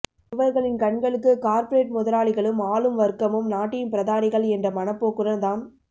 இவர்களின் கண்களுக்கு கார்பரேட் முதலாளிகளும் ஆளும் வர்க்கமும் நாட்டின் பிரதானிகள் என்ற மனப்போக்குடன் தான்